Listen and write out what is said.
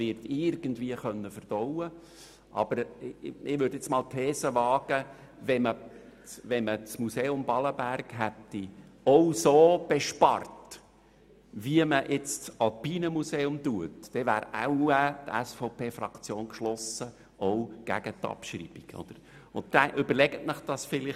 Ich wage aber die These, dass die SVP-Fraktion geschlossen gegen eine Abschreibung gestimmt hätte, wenn Ballenberg im gleichen Ausmass von Einsparungen betroffen gewesen wäre wie das Alpine Museum.